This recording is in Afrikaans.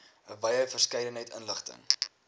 wye verskeidenheid inligting